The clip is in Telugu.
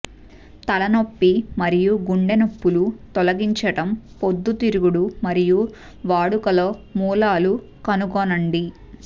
తలనొప్పి మరియు గుండె నొప్పులు తొలగించడం పొద్దుతిరుగుడు మరియు వాడుకలో మూలాలు కనుగొనండి